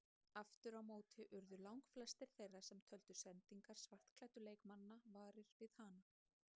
Aftur á móti urðu langflestir þeirra sem töldu sendingar svartklæddu leikmannanna varir við hana.